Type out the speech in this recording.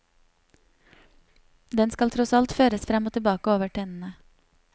Den skal tross alt føres frem og tilbake over tennene.